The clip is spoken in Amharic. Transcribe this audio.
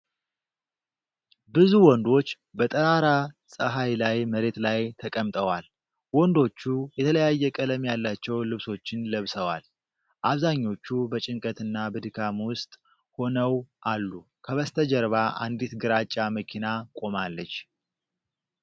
ብዙ ወንዶች በጠራራ ፀሐይ ላይ መሬት ላይ ተቀምጠዋል። ወንዶቹ የተለያየ ቀለም ያላቸው ልብሶችን ለብሰዋል፤ አብዛኞቹ በጭንቀትና በድካም ውስጥ ሆነው አሉ። ከበስተጀርባ አንዲት ግራጫ መኪና ቆማለች።